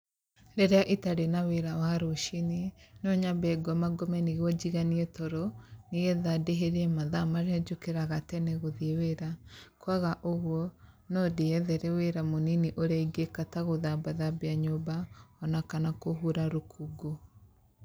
Rĩrĩa itarĩ na wĩra wa rũciinĩ, no nyambe ngomangome nĩguo njĩganie toro, nĩ getha ndĩhĩrie mathaa marĩa njũkĩraga tene gũthiĩ wĩra, kwaga ũguo, no ndĩethere wĩra mũnini ũrĩa ingĩka ta gũthambathambia nyũmba o na kana kũhura rũkũngũ.